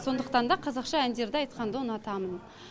сондықтан да қазақша әндерді айтқанды ұнатамын